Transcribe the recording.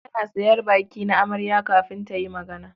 Ana sayan baki na amarya kafin ta yi magana.